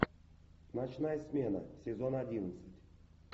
ночная смена сезон одиннадцать